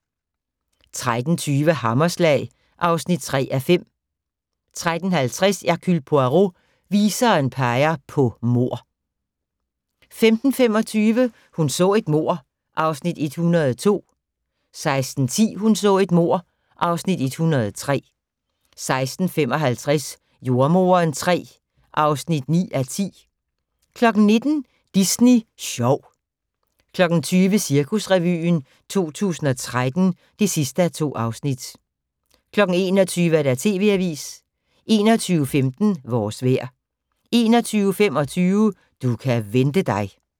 13:20: Hammerslag (3:5) 13:50: Hercule Poirot: Viseren peger på mord 15:25: Hun så et mord (Afs. 102) 16:10: Hun så et mord (Afs. 103) 16:55: Jordemoderen III (9:10) 19:00: Disney Sjov 20:00: Cirkusrevyen 2013 (2:2) 21:00: TV Avisen 21:15: Vores vejr 21:25: Du kan vente dig